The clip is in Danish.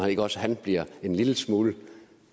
ikke også han bliver en lille smule